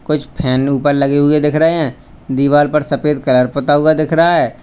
कुछ फैन ऊपर लगे हुए दिख रहे हैं दीवार पर सफेद कलर पुता हुआ दिख रहा है।